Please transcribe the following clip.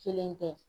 Kelen tɛ